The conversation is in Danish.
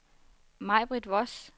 Majbrit Voss